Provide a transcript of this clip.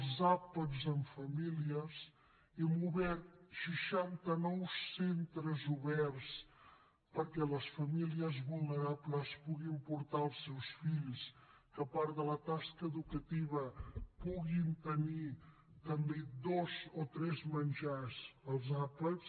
els àpats en família hem obert seixanta nou centres oberts perquè les famílies vulnerables hi puguin portar els seus fills que a part de la tasca educativa puguin tenir també dos o tres menjars els àpats